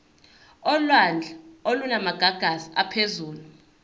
olwandle olunamagagasi aphezulu